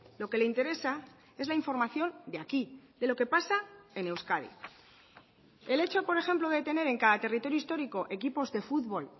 lo que le interesa es la información de aquí de lo que pasa en euskadi el hecho por ejemplo de tener en cada territorio histórico equipos de fútbol